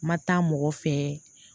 Ma taa mɔgɔ fɛ